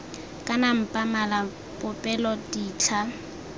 kana mpa mala popelo ditlha